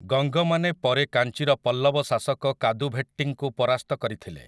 ଗଙ୍ଗମାନେ ପରେ କାଞ୍ଚିର ପଲ୍ଲବ ଶାସକ କାଦୁଭେଟ୍ଟିଙ୍କୁ ପରାସ୍ତ କରିଥିଲେ ।